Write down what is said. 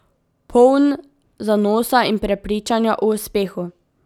Poln zanosa in prepričanja o uspehu.